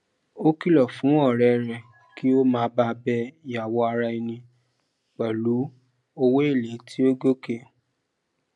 ó kìlọ fún ọrẹ rẹ kí ó má ba bẹ yawó ara ẹni pẹlú owóele tí ó gòkè